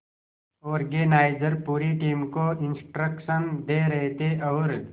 organiser पूरी team को instruction दे रहे थे और